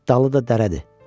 Dalı da dərədir.